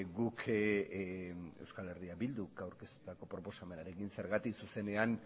guk euskal herriak bilduk aurkeztutako proposamenarekin zergatik zuzenean